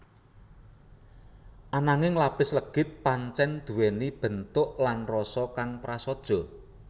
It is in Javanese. Ananging lapis legit pancèn nduwèni bentuk lan rasa kang prasaja